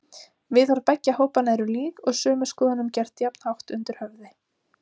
Viðhorf beggja hópanna eru lík og sömu skoðunum gert jafnhátt undir höfði.